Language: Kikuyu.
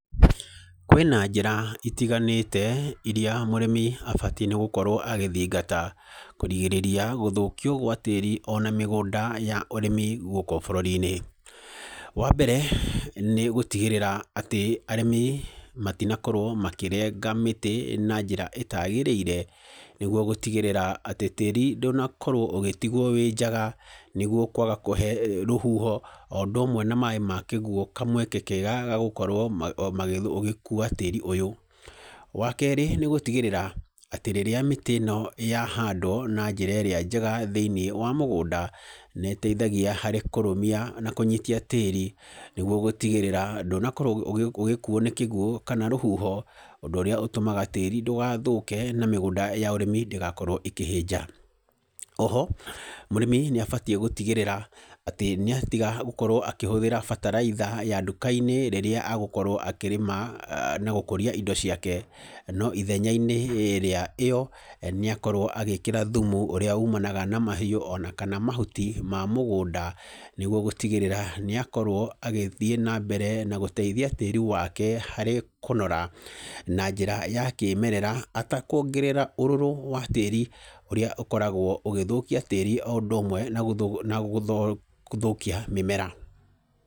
Kwĩ na njĩra itiganĩte irĩa mũrĩmi abatiĩ nĩ gũkorwo agĩthingata kũgirĩrĩria gũthũkio gwa tĩĩri ona mĩgũnda ya ũrĩmi gũkũ bũrũri-inĩ. Wa mbere, nĩ gũtigĩrĩra atĩ arĩmi matinakorwo makĩrenga mĩtĩ na njĩra ĩtaagĩrĩire. Nĩguo gũtigĩrĩra atĩ tĩĩri ndũnakorwo ũgĩtigwo wĩ njaga, nĩguo kwaga kũhe rũhuho o ũndũ ũmwe na maĩ ma kĩguo kamweke kega ga gũkorwo ũgĩkua tĩĩri ũyũ. Wa kerĩ, nĩ gũtigĩrĩra atĩ rĩrĩa mĩtĩ ĩno yahandwo na njĩra ĩrĩa njega thĩiniĩ wa mũgũnda, nĩ ĩteithagia harĩ kũrũmia na kũnyita tĩĩri. Nĩguo gũtigĩrĩra ndũnakorwo ũgĩkuo nĩ kĩguo kana rũhuho, ũndũ ũrĩa ũtũmaga tĩĩri ndũgathũke na mĩgũnda ya ũrĩmi ndĩgakorwo ĩkĩhĩnja. Oho mũrĩmi nĩ abatiĩ gũtigĩrĩra atĩ nĩ atiga gũkorwo akĩhũthĩra bataraitha ya nduka-inĩ rĩrĩa agũkorwo akĩrĩma na gũkũria indo ciake. No ithenya-inĩ rĩa ĩyo nĩ akorwo agĩĩkĩra thumu ũrĩa umanaga na mahiũ kana mahuti ma mũgũnda. Nĩguo gũtigĩrĩra nĩ akorwo agĩthiĩ na mbere na gũteithia tĩĩri wake harĩ kũnora, na njĩra ya kĩĩmerera atakuongerera ũrũrũ wa tĩĩri, ũrĩa ũkoragwo ũgĩthũkia tĩĩri o ũndũ ũmwe na gũthũkia mĩmera.